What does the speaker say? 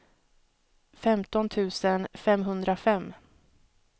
femton tusen femhundrafem